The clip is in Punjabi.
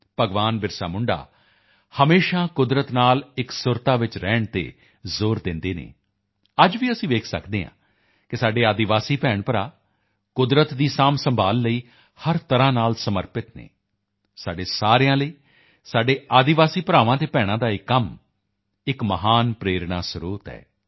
ਭਗਵਾਨ ਬਿਰਸਾਮੁੰਡਾ ਹਮੇਸ਼ਾ ਕੁਦਰਤ ਨਾਲ ਇੱਕ ਸੁਰਤਾ ਵਿੱਚ ਰਹਿਣ ਤੇ ਜ਼ੋਰ ਦਿੰਦੇ ਹਨ ਅੱਜ ਵੀ ਅਸੀਂ ਦੇਖ ਸਕਦੇ ਹਾਂ ਕਿ ਸਾਡੇ ਆਦਿਵਾਸੀ ਭੈਣਭਰਾ ਕੁਦਰਤ ਦੀ ਸਾਂਭਸੰਭਾਲ਼ ਲਈ ਹਰ ਤਰ੍ਹਾਂ ਨਾਲ ਸਮਰਪਿਤ ਹਨ ਸਾਡੇ ਸਾਰਿਆਂ ਲਈ ਸਾਡੇ ਆਦਿਵਾਸੀ ਭਰਾਵਾਂ ਅਤੇ ਭੈਣਾਂ ਦਾ ਇਹ ਕੰਮ ਇੱਕ ਮਹਾਨ ਪ੍ਰੇਰਣਾ ਸਰੋਤ ਹੈ